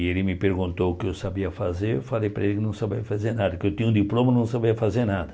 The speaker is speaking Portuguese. E ele me perguntou o que eu sabia fazer, eu falei para ele que não sabia fazer nada, que eu tinha um diploma e não sabia fazer nada.